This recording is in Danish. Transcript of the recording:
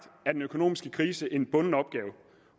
er den økonomiske krise en bunden opgave